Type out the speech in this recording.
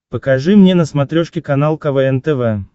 покажи мне на смотрешке канал квн тв